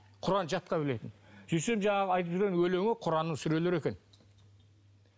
құран жатқа білетін сөйтсем жаңағы айтып жүрген өлеңі құранның сүрелері екен